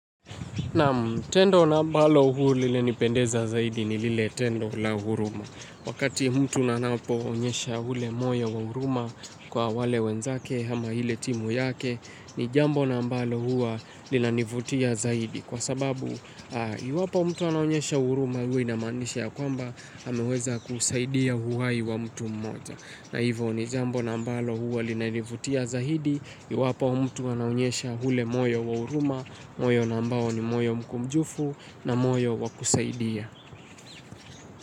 Naam tendo na ambalo huu lilinipendeza zaidi ni lile tendo la huruma. Wakati mtu nanapo onyesha hule moyo wa huruma kwa wale wenzake hama hile timu yake ni jambo na ambalo huw lina nivutia zaidi kwa sababu iwapo mtu anayonyesha huruma hua inamaanisha ya kwamba ameweza kusaidia huhai wa mtu mmoja. Na hivo ni jambo na ambalo huwa linanivutia zahidi, iwapo mtu anaonyesha hule moyo wa huruma, moyo na ambao ni moyo mkumjufu na moyo wa kusaidia.